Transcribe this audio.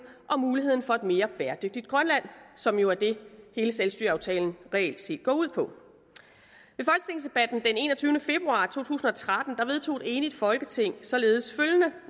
og muligheden for et mere bæredygtigt grønland som jo er det hele selvstyreaftalen reelt set går ud på i folketingsdebatten den enogtyvende februar to tusind og tretten vedtog et enigt folketing således følgende